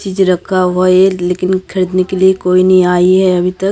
चीज रखा हुआ है लेकिन खरीदने के लिए कोई नहीं आई है अभी तक--